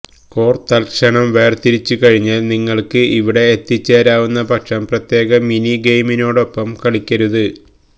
core തൽക്ഷണം വേർതിരിച്ചുകഴിഞ്ഞാൽ നിങ്ങൾക്ക് ഇവിടെ എത്തിച്ചേരാവുന്നപക്ഷം പ്രത്യേക മിനി ഗെയിമിനോടൊപ്പം കളിക്കരുത്